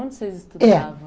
Onde vocês estudavam? é